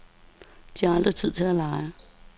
De har aldrig tid til at lege.